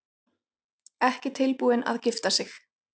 Ekki tilbúin til að gifta sig